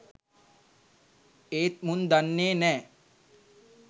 ඒත් මුන් දන්නේ නෑ